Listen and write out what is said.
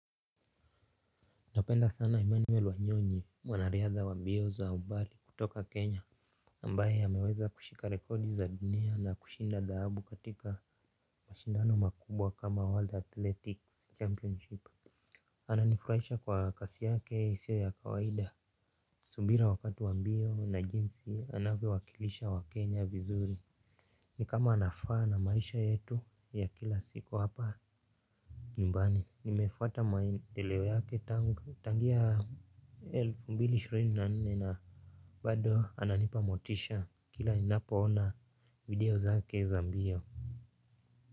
Napenda sana Emmanuel Wanyonyi mwanariadha wa mbio za umbali kutoka kenya ambaye hameweza kushika rekodi za dunia na kushinda dhahabu katika mashindano makubwa kama world athletics championship. Ananifurahisha kwa kasi yake isiyo ya kawaida. Subira wakati wa mbio na jinsi anavyo wakilisha wa kenya vizuri. Ni kama anafaa na maisha yetu ya kila siku hapa. Nyumbani, nimefuata maendeleo yake tangu tangia elfu mbili na ishirini na nne na bado ananipamotisha kila ninapo ona video zake za mbio.